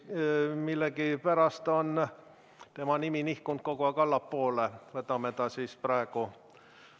Millegipärast on tema nimi nihkunud kogu aeg allapoole, võtame ta praegu.